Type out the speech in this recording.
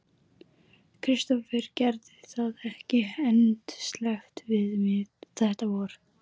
Kristófer gerði það ekki endasleppt við mig þetta vor.